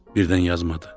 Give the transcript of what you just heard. Birdən yazmadı.